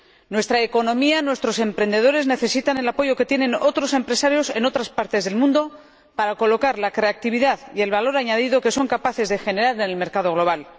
Nuestra economía, nuestros emprendedores, necesitan el apoyo que tienen otros empresarios en otras partes del mundo para colocar la creatividad y el valor añadido que son capaces de generar en el mercado global.